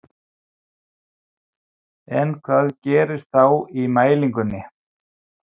En hvað gerist þá í mælingunni?